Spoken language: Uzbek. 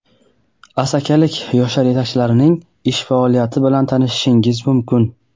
asakalik yoshlar yetakchilarining ish faoliyati bilan tanishishingiz mumkin.